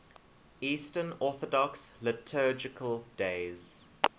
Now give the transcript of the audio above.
eastern orthodox liturgical days